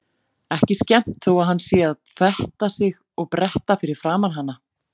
Ekki skemmt þó að hann sé að fetta sig og bretta fyrir framan hana.